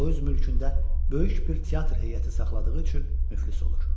O öz mülkündə böyük bir teatr heyəti saxladığı üçün müflis olur.